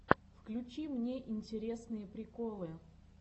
включи мне интересные приколы